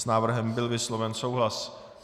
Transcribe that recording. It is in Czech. S návrhem byl vysloven souhlas.